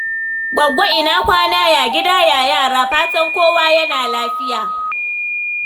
Gwaggo ina kwana? Ya gida, ya yara? Fatan kowa yana lafiya.